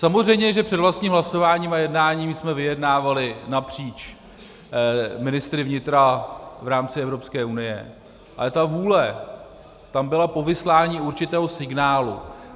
Samozřejmě že před vlastním hlasováním a jednáním jsme vyjednávali napříč ministry vnitra v rámci Evropské unie, ale ta vůle tam byla po vyslání určitého signálu.